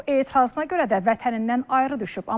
Bu etirazına görə də vətənindən ayrı düşüb.